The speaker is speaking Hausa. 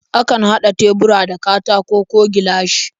Akan haɗa tebura da katako ko gilashi.